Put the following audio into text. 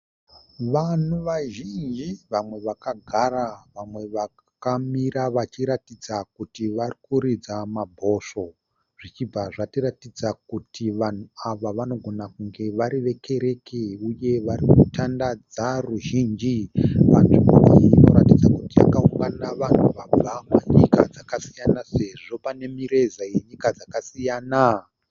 Vanhu vazhinji vamwe vakagara vamwe vakamira vachiratidza kuti varikuridza mabhosvo zvichibva zvatiratidza kuti vanhu ava vanogona kunge vari vekereke uye vari kutandadza ruzhinji. Panzvimbo iyi inoratidza kuti pakaungana vanhu vabva kunyika dzakasiyana sezvo pane mireza yenyika dzakasiyana.